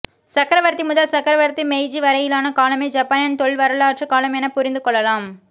சக்கரவர்த்தி முதல் சக்கரவர்த்தி மெய்ஜி வரையிலான காலமே ஜப்பானின் தொல்வரலாற்றுக் காலம் என புரிந்துகொள்ளலாம்